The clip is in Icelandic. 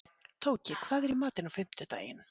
Tóki, hvað er í matinn á fimmtudaginn?